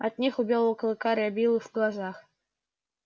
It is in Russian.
от них у белого клыка рябило в глазах